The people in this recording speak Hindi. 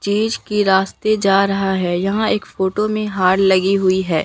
के रास्ते जा रहा है यहां एक फोटो में हार लगी हुई है।